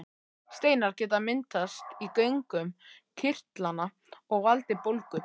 Steinar geta myndast í göngum kirtlanna og valdið bólgu.